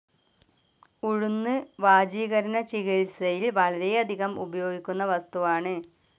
ഉഴുന്ന് വാജീകരണ ചികിത്സയിൽ വളരെയധികം ഉപയോഗിക്കുന്ന വസ്തുവാണ്‌.